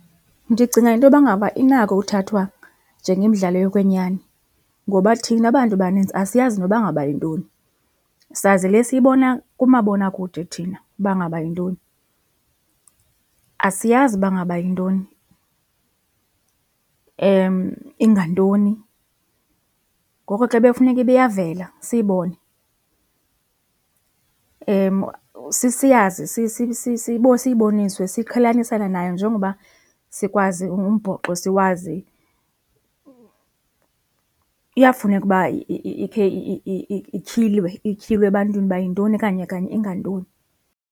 Ndicinga intoba ngaba inako uthathwa njengemidlalo yokwenyani, ngoba thina bantu banintsi asiyazi nokuba ngaba yintoni, sazi le siyibona kumabonakude thina uba ngaba yintoni. Asiyazi uba ngaba yintoni ingantoni ngoko ke bekufuneka uba iyavela siyibone siyazi siyibonisiwe siqhelanisane nayo njengoba sikwazi umbhoxo siwazi iyafuneka uba ikhe ityhilwe, ityhilwe ebantwini uba yintoni kanye kanye ingantoni.